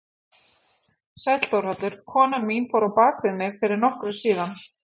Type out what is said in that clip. Sæll Þórhallur, konan mín fór á bak við mig fyrir nokkru síðan.